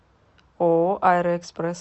ооо аэроэкспресс